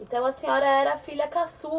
Então a senhora era a filha caçula.